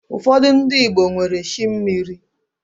Ụfọdị ndi Igbo nwere chi mmiri